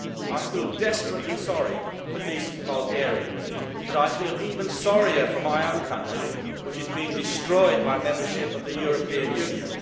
I feel desperately sorry for decent Bulgarians, but I feel even sorrier for my own country, which is being destroyed by membership of the European Union.